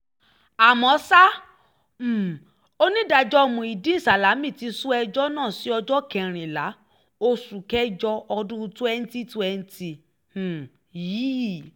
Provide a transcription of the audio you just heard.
àmọ́ ṣá um onídàájọ́ muideen salami ti sún ẹjọ́ náà sí ọjọ́ kẹrìnlá oṣù kẹjọ ọdún 2020 um yìí